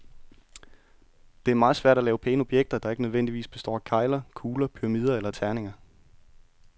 Det er meget svært at lave pæne objekter, der ikke nødvendigvis består af kegler, kugler, pyramider eller terninger.